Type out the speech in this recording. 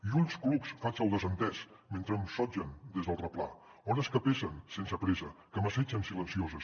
i ulls clucs faig el desentès mentre em sotgen des del replà hores que pesen sense pressa que m’assetgen silencioses